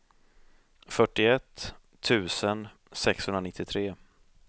fyrtioett tusen sexhundranittiotre